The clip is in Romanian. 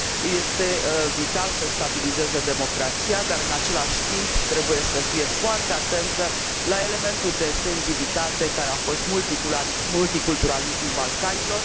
Este vital să și stabilizeze democrația, dar, în același timp, trebuie să fie foarte atentă la elementul de sensibilitate care a fost multiculturalismul Balcanilor.